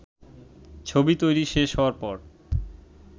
ছবি তৈরি শেষ হওয়ার পর